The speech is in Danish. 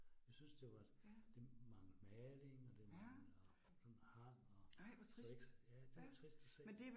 Jeg synes det var, det mangler maling og det mangler sådan hang og så ikke. Ja, det var trist at se